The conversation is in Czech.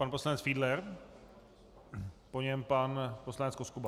Pan poslanec Fiedler, po něm pan poslanec Koskuba.